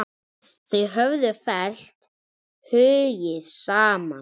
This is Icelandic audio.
Þau höfðu fellt hugi saman.